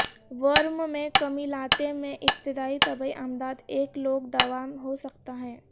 ورم میں کمی لاتے میں ابتدائی طبی امداد ایک لوک دوا ہو سکتا ہے